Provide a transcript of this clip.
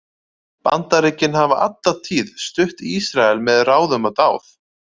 Bandaríkin hafa alla tíð stutt Ísrael með ráðum og dáð.